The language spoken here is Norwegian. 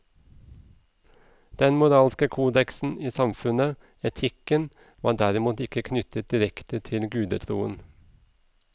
Den moralske kodeksen i samfunnet, etikken, var derimot ikke knyttet direkte til gudetroen.